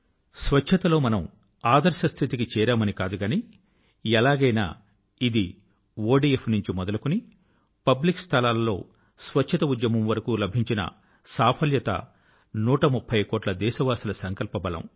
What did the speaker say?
స్వచ్ఛత లో మనం ఆదర్శ స్థితి కి చేరామని కాదు గానీ ఎలాగైనా ఇది ఒడిఎఫ్ నుంచి మొదలుకొని పబ్లిక్ స్థలాలో స్వచ్ఛత ఉద్యమం వరకు లభించిన సాఫల్యత 130 కోట్ల దేశవాసుల సంకల్ప బలం